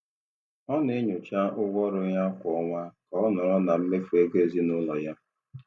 Ọ na-enyocha ụgwọ ọrụ ya kwa ọnwa ka ọ nọrọ na mmefu ego ezinụlọ ya.